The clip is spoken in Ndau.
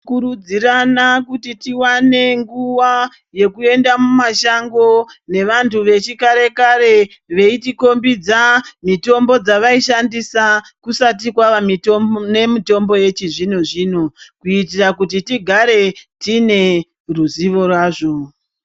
Kurudzirana kuti tiwane nguwa yekuenda mumashango nevantu vechikare kare veitikombidza mitombo dzavaishandisa kusati kwava nemitombo yechizvino zvino kuitira kuti tigare tine ruzivo razvo.